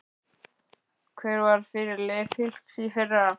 Hver var fyrirliði Fylkis í fyrra?